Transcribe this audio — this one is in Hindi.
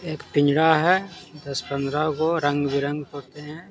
एक पिंजरा है दस पंडरा को रंग बिरंग होते हैं।